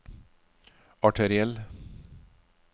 arteriell